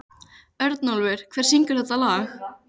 Örnólfur, hver syngur þetta lag?